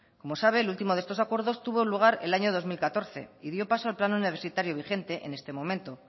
como sabe el último de estos acuerdos tuvo lugar el año dos mil catorce y dio paso al plan universitario vigente en este momento